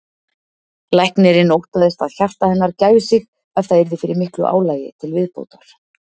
Læknirinn óttaðist að hjarta hennar gæfi sig ef það yrði fyrir miklu álagi til viðbótar.